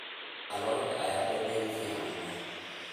Maraq lo'aad ayaa dhadhan fiican leh.